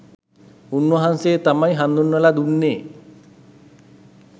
උන්වහන්සේ තමයි හඳුන්වල දුන්නෙ